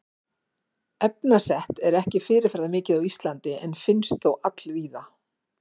Efnaset er ekki fyrirferðamikið á Íslandi en finnst þó allvíða.